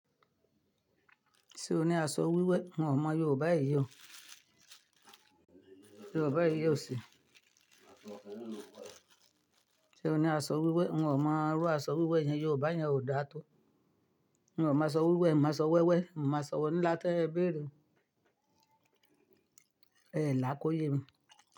Ṣé o ní aṣọ wíwé? N o mọ Yorùbá èyí o. Yorùbá èyí o ṣe. Ṣe o ní aṣọ wíwé? N o máa rọ aṣọ wíwé yẹn, Yorùbá yẹn ò dá tó. N o máa sọ wíwé, máa sọ wẹ́wẹ́, máa sọ ńlá tẹ́ ẹ béèrè. Ẹ là kóyè mi.